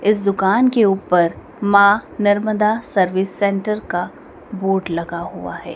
इस दुकान के ऊपर मां नर्मदा सर्विस सेंटर का बोर्ड लगा हुआ हैं।